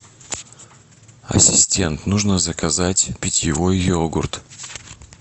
ассистент нужно заказать питьевой йогурт